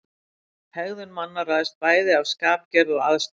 Hegðun manna ræðst bæði af skapgerð og aðstæðum.